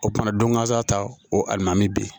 O kumana don gasa ta o a na mi bi